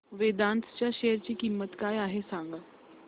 वेदांत च्या शेअर ची किंमत काय आहे सांगा